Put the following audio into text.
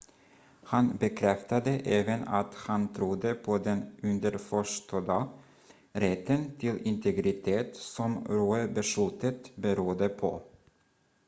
han bekräftade även att han trodde på den underförstådda rätten till integritet som roe-beslutet berodde på